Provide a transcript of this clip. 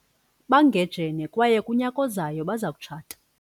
bangejene kwaye kunyaka ozayo baza kutshata